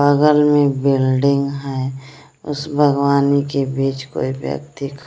बगल में बिल्डिंग है उस भगवान के बीच कोई व्यक्ति--